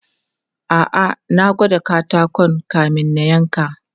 A'a, na gwada katakon kamin na yanka.